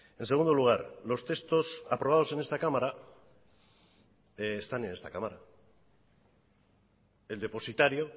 en segundo lugar los textos aprobados en esta cámara están en esta cámara el depositario